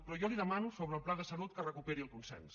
però jo li demano sobre el pla de salut que recuperi el consens